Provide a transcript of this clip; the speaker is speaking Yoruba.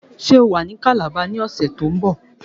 Ṣé o wà ní Calabar ní ọ̀sẹ̀ to ń bọ̀